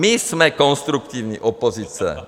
My jsme konstruktivní opozice.